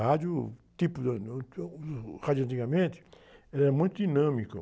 Rádio, o tipo de, o rádio de antigamente era muito dinâmico.